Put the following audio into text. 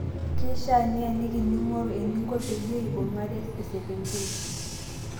Keishaa nieniki ning'oru eninko peyiee eibung'are esekenkei.